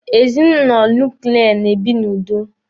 Ezinụlọ nuklia na-ebi n'udo.